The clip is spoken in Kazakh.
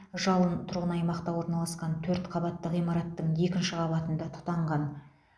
жалын тұрғын аймақта орналасқан төрт қабатты ғимараттың екінші қабатында тұтанған